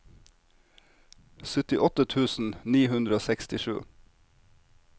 syttiåtte tusen ni hundre og sekstisju